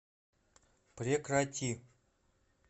прекрати